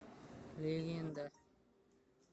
легенда